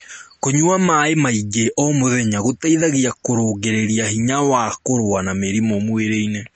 kũnyua maĩ maĩ ngi o mũthenya gũteithagia kurungirĩa hinya wa kurua na mĩrimũ mwĩrĩ-ini